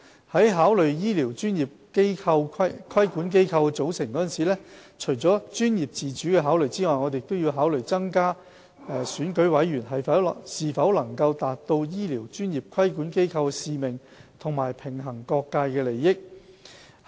在考慮醫療專業規管機構的組成時，除了專業自主的考慮外，我們亦要考慮增加選舉委員是否能達到醫療專業規管機構的使命及平衡各界利益之舉。